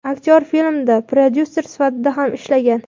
Aktyor filmda prodyuser sifatida ham ishlagan.